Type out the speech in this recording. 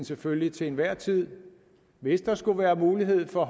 selvfølgelig til enhver tid hvis der skulle være mulighed for